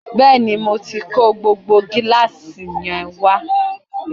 Bẹ́ẹ̀ni, mo tí kó gbogbo gíláàsì yẹn wá